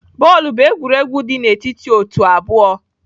Bọọlụ bụ egwuregwu dị n'etiti otu abụọ.